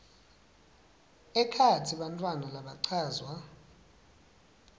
ekhatsi bantfwana labachazwa